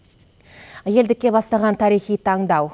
елдікке бастаған тарихи таңдау